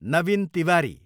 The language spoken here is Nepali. नवीन तिवारी